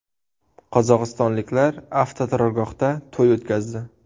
Qozog‘istonliklar avtoturargohda to‘y o‘tkazdi .